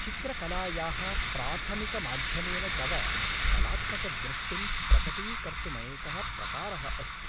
चित्रकलायाः प्राथमिकमाध्यमेन तव कलात्मकदृष्टिं प्रकटीकर्तुमेकः प्रकारः अस्ति।